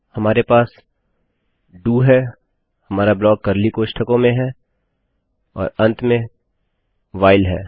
हमारे पास डीओ है हमारा ब्लाक कर्ली कोष्ठकों में है और अंत में व्हाइल है